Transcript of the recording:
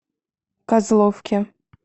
козловке